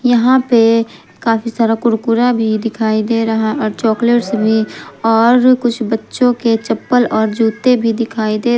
यहां पे काफी सारा कुरकुरा भी दिखाई दे रहा और चॉकलेटस भी और कुछ बच्चों के चप्पल और जूते भी दिखाई दे --